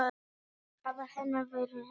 Áhrif hennar verða seint ofmetin.